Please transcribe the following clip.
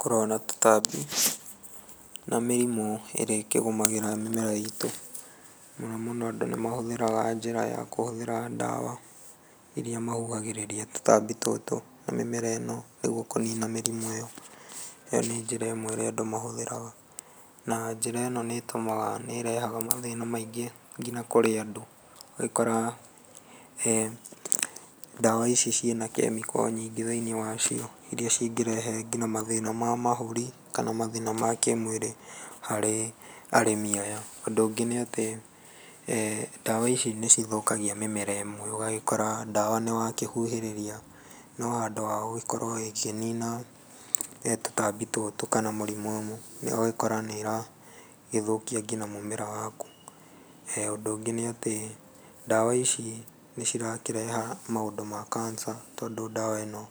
Kũrũa na tũtambi na mĩrimũ ĩrĩa ĩkĩgũmagĩra mĩmera itũ, na mũno mũno andũ nĩ mahũthagĩra njĩra ya kũhũthĩra ndawa, iria mahuhagĩrĩria tũtambi tũtũ na mĩmera ĩno, nĩguo kũnina mĩrimũ ĩyo. Ĩyo nĩ njĩra ĩmwe ĩrĩa andũ mahũthagĩra, na njĩra ĩno nĩ ĩtũmaga, nĩ ĩrehaga mathĩna maingĩ, ngina kũrĩ andũ. Nĩũgũkora ndawa ici ciĩna chemical nyingĩ thĩinĩ wacio, iria cingĩrehe ngina thĩna ma mahũri, na mathĩna makĩmwĩrĩ harĩ arĩmi aya. Ũndũ ũngĩ nĩatĩ, ndawa ici nĩ cigĩthũkagia mĩmera ĩmwe, ũgagĩkora ndawa nĩ wakĩhuhĩrĩria, no handũ wagũgĩkorwo ĩkĩnina tũtambi tũtũ kana mĩrimũ ĩno, ũgagĩkora nĩ ĩragĩthũkia ngina mũmera waku. Ũndũ ũngĩ ndawa nĩatĩ, dawa ici nĩ cirakĩrehe maũndũ ma cancer, tondũ ndawa ĩno